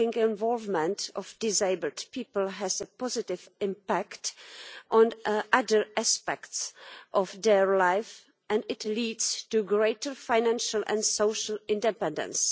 Involvement in work for disabled people has a positive impact on other aspects of their life and it leads to greater financial and social independence.